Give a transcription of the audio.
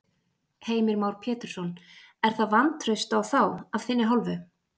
Heimir Már Pétursson: Er það vantraust á þá af þinni hálfu?